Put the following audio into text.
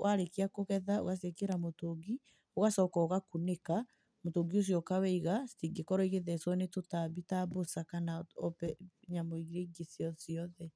warakia kũgetha ũgaciĩkĩra mũtũngi, ũgacoka ũgakũnĩka mũtũngi ũcio ũkawĩiga citingĩkorwo igĩthecwo nĩ tũtambi ta mbũca kana nyamũ irĩa ingĩ cio ciothe.